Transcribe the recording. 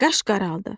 Qaş qaraldı.